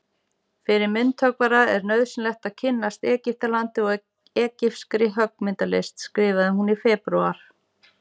Fyrir myndhöggvara er nauðsynlegt að kynnast Egyptalandi og egypskri höggmyndalist skrifar hún í febrúar.